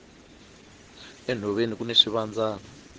enhoveni kuni swivandzani